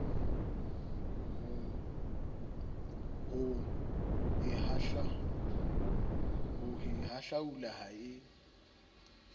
ho e hahlaula ha e